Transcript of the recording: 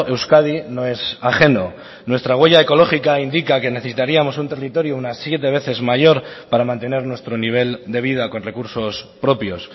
euskadi no es ajeno nuestra huella ecológica indica que necesitaríamos un territorio unas siete veces mayor para mantener nuestro nivel de vida con recursos propios